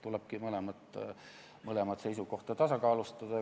Tulebki seisukohti tasakaalustada.